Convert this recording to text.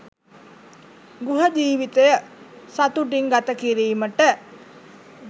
ගෘහ ජීවිතය සතුටින් ගත කිරීමට